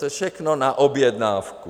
To je všechno na objednávku.